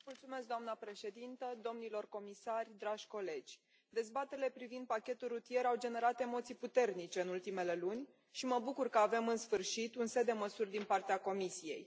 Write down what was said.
Doamnă președintă, domnilor comisari, dragi colegi, dezbaterile privind pachetul rutier au generat emoții puternice în ultimele luni și mă bucur că avem în sfârșit un set de măsuri din partea Comisiei.